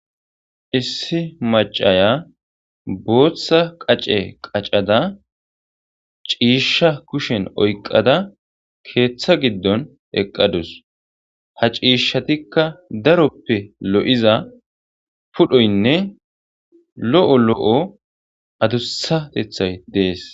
Issi macaya booththa qacce qaccada ciishsha kushen oyqada keeththa giddon eeqadus ha ciishshattikka daro wode loiza phudhoynne addussateththey dees